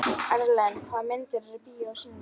Erlen, hvaða myndir eru í bíó á sunnudaginn?